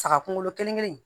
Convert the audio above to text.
Saga kunkolo kelen kelen